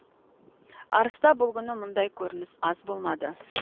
арыста бұл күні мұндай көрініс аз болмады